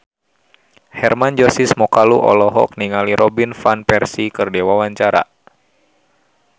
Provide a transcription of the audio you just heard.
Hermann Josis Mokalu olohok ningali Robin Van Persie keur diwawancara